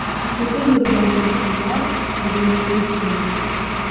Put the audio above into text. Kecha yurgan insonlar bugun ko‘z yummoqda.